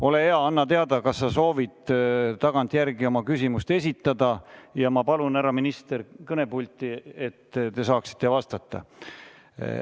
Ole hea, anna teada, kas sa soovid tagantjärele oma küsimust esitada, ja ma palun härra ministri kõnepulti, et ta saaks vastata.